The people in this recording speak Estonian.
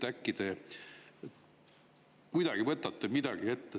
Äkki te võtate midagi ette?